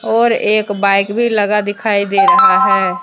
और एक बाइक भी लगा दिखाई दे रहा है।